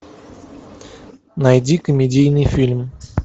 найди комедийный фильм